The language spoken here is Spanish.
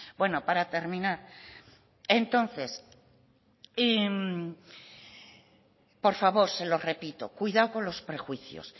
bueno para terminar entonces por favor se lo repito cuidado con los prejuicios